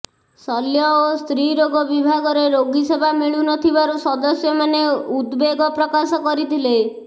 ଶଲ୍ୟ ଓ ସ୍ତ୍ରୀ ରୋଗ ବିଭାଗରେ ରୋଗୀ ସେବା ମିଳୁନଥିବାରୁ ସଦସ୍ୟମାନେ ଉଦ୍ବେଗ ପ୍ରକାଶ କରିଥିଲେ